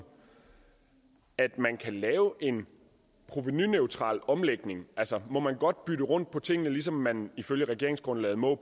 at man kan lave en provenuneutral omlægning altså må man godt bytte rundt på tingene ligesom man ifølge regeringsgrundlaget må